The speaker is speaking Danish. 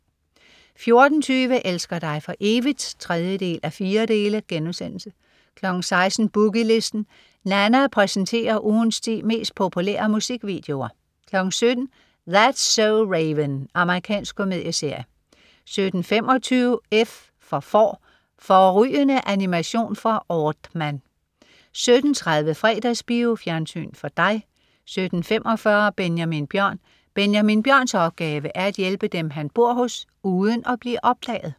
14.20 Elsker dig for evigt? 3:4* 16.00 Boogie Listen. Nanna præsenterer ugens ti mest populære musikvideoer 17.00 That's so Raven. Amerikansk komedieserie 17.25 F for Får. Fårrygende animation fra Aardman 17.30 Fredagsbio. Fjernsyn for dig 17.45 Benjamin Bjørn. Benjamin Bjørns opgave er at hjælpe dem, han bor hos, uden at blive opdaget